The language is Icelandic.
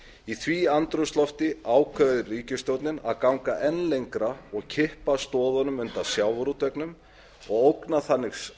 í því andrúmslofti ákveður ríkisstjórnin að ganga enn lengra og kippa stoðunum undan sjávarútveginum og ógna þannig